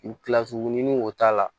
Kilasi ɲini o t'a la